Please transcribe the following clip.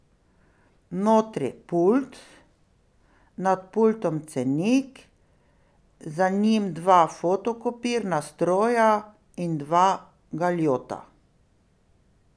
Notri pult, nad pultom cenik, za njim dva fotokopirna stroja in dva galjota.